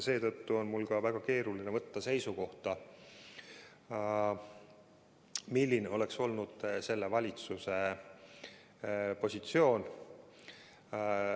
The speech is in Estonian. Seetõttu on mul väga keeruline võtta seisukohta, milline oleks olnud valitsuse positsioon.